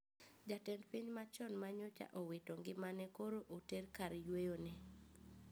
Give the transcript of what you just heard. Jatend piny machon manyocha owito ngimane koro oter kar yweyo ne